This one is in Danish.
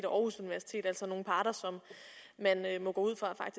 aarhus universitet altså nogle parter som man må gå ud fra